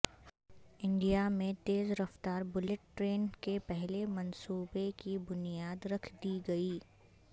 India میں تیز رفتار بلٹ ٹرین کے پہلے منصوبے کی بنیاد رکھ دی گئی